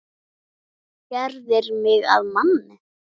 Gerðir mig að manni.